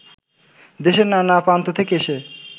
দেশের নানা প্রান্ত থেকে এসে